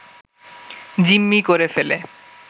জিম্মি করে ফেলে